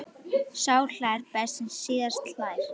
Sá hlær best sem síðast hlær!